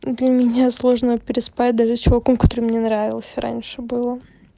для меня сложно переспать даже с чуваком который мне нравился раньше было